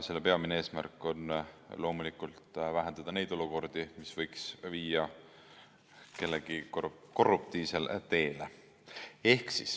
Selle peamine eesmärk on loomulikult vähendada neid olukordi, mis võiks viia kellegi korruptiivsele teele.